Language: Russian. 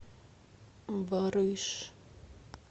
барыш